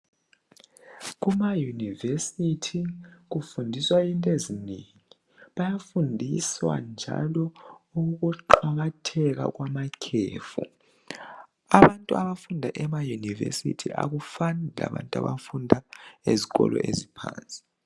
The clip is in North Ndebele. Kumayunivesithi kufundiswa into ezinengi bayafundiswa njalo ukuqakatheka kwamakhefu. Abantu abafunda emayunivesithi akufani labantu abafunda ezikolo eziphansi.